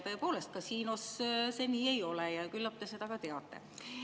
Tõepoolest, kasiinos see nii ei ole ja küllap te seda ka teate.